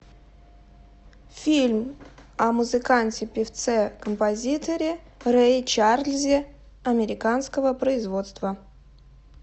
фильм о музыканте певце композиторе рэе чарльзе американского производства